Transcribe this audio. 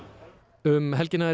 um helgina er